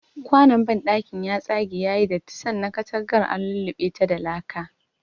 Kwanon banɗakin ya tsage yayi datti sannan katangar an lullubeta da laka.